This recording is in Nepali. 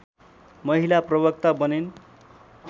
महिला प्रवक्ता बनिन्